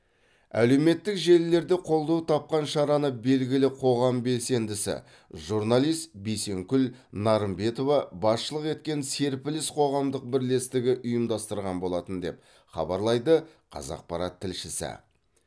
әлеуметтік желілерде қолдау тапқан шараны белгілі қоғам белсендісі журналист бейсенкүл нарымбетова басшылық еткен серпіліс қоғамдық бірлестігі ұйымдастырған болатын деп хабарлайды қазақпарат тілшісі